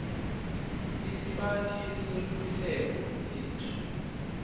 lesibanti seluhlelo lwetfu